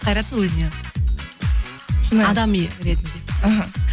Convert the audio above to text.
қайраттың өзіне адами ретінде іхі